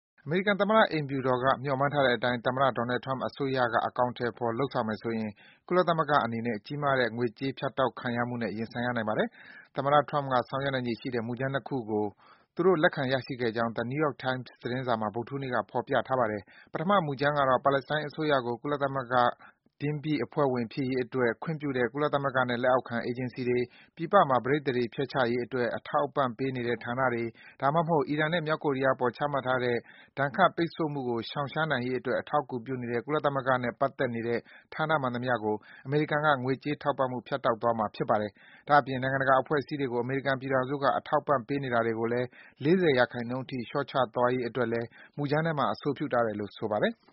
အမေရိကန်သမ္မတ အိမ်ဖြူတော်က မျှော်မှန်းထားတဲ့အတိုင်း သမ္မတ Donald Trump အစိုးရက အကောင်အထည်ဖော် လုပ်ဆောင်မယ်ဆိုရင် ကုလသမဂ္ဂအနေနဲ့ ကြီးမားတဲ့ ငွေကြေးဖြတ်တောက်ခံရမှုနဲ့ ရင်ဆိုင်ရနိုင်ပါတယ်။ သမ္မတ Trump က ဆောင်ရွက်နိုင်ခြေရှိတဲ့ မူကြမ်း ၂ ခုကို သူတို့ လက်ခံရရှိခဲ့ကြောင်း The New York Times သတင်းစာမှာ ဗုဒ္ဓဟူးနေ့က ဖော်ပြထားပါတယ်။ ပထမ မူကြမ်းကတော့ - ပါလက်စတိုင်း အစိုးရကို ကုလသမဂ္ဂ တင်းပြည့် အဖွဲ့ဝင်ဖြစ်ရေးအတွက် ထောက်ခံတဲ့ ကုလသမဂ္ဂလက်အောက်ခံ အေဂျင်စီတွေ၊ ပြည်ပမှာ ပဋိသန္ဓေဖျက်ချရေးအတွက် အထောက်အပံ့ ပေးနေတဲ့ ဌာနတွေ၊ ဒါမှမဟုတ် အီရန်နဲ့ မြောက်ကိုရီးယားအပေါ် ချမှတ်ထားတဲ့ ဒဏ်ခတ် ပိတ်ဆို့မှုကို ရှောင်နိုင်ရေးအတွက် အထောက်အကူပြုနေတဲ့ ကုလသမဂ္ဂနဲ့ ပတ်သက်နေတဲ့ ဌာနမှန်သမျှကို အမေရိကန်က ငွေကြေး ထောက်ပံ့မှု ဖြတ်တောက်သွားမှာ ဖြစ်ပါတယ်။ ဒါ့အပြင် နိုင်ငံတကာ အဖွဲ့အစည်းတွေကို အမေရိကန်ပြည်ထောင်စုက အထောက်အပံ့ပေးနေတာတွေကိုလည်း အနဲဆုံး ၄၀% လျှော့ချသွားရေးအတွက်လဲ မူကြမ်းထဲမှာ အဆိုပြုထားတယ်လို့ ဆိုပါတယ်။